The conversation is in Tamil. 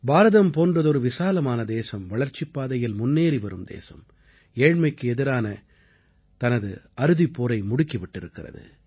பாரதம் போன்றதொரு விசாலமான தேசம் வளர்ச்சிப் பாதையில் முன்னேறி வரும் தேசம் ஏழ்மைக்கு எதிரான தனது அறுதிப் போரை முடுக்கி விட்டிருக்கிறது